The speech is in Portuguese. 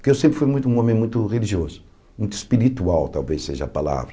Porque eu sempre fui muito um homem muito religioso, muito espiritual, talvez seja a palavra.